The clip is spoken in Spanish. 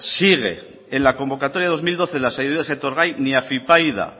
sigue en la convocatoria de dos mil doce en las ayudas a etorgai ni afypaida